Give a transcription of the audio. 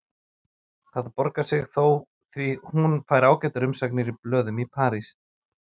Það borgar sig þó því hún fær ágætar umsagnir í blöðum í París.